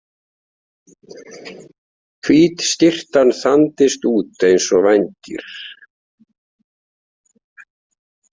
Hvít skyrtan þandist út eins og vængir.